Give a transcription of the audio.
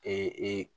Ee